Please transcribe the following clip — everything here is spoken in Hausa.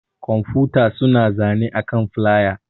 Kwamfuta suna zane akan flƴa.